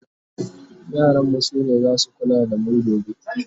yaran mu sune zasu kula da mu gobe